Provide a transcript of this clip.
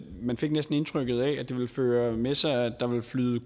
man fik næsten indtrykket af at det ville føre med sig at der ville flyde